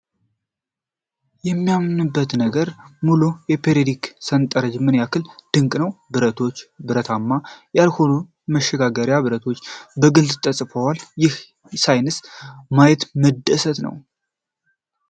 የማምንበት ነገር ነው! ይህ ሙሉ የፔርዮዲክ ሠንጠረዥ ምን ያህል ድንቅ ነው! ብረቶች፣ ብረታማ ያልሆኑና መሸጋገሪያ ብረቶች በግልጽ ተከፋፍለዋል! ይህንን ሳይንስ ማየት መደሰት ነው!